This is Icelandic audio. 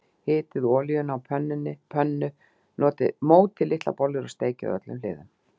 Hitið olíuna á pönnu, mótið litlar bollur og steikið á öllum hliðum.